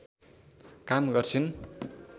काम गर्छिन्